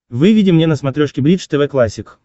выведи мне на смотрешке бридж тв классик